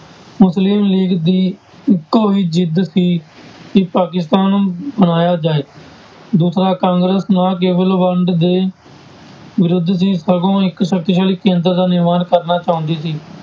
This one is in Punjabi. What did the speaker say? ਮੁਸਲਿਮ ਲੀਗ ਦੀ ਇੱਕੋ ਹੀ ਜਿੱਦ ਸੀ ਕਿ ਪਾਕਿਸਤਾਨ ਬਣਾਇਆ ਜਾਏ, ਦੂਸਰਾ ਕਾਂਗਰਸ ਨਾ ਕੇਵਲ ਵੰਡ ਦੇ ਵਿਰੁੱਧ ਸੀ ਸਗੋਂ ਇੱਕ ਸ਼ਕਤੀਸ਼ਾਲੀ ਕੇਂਦਰ ਦਾ ਨਿਰਮਾਣ ਕਰਨਾ ਚਾਹੁੰਦੀ ਸੀ।